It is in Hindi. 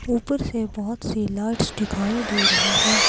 ऊपर से बहुत सी लाइट्स दिखाई दे रही है।